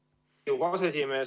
Lugupeetud Riigikogu aseesimees!